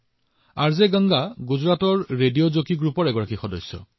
R J Ganga গুজৰাটৰ radio jockey গোটৰ সদস্য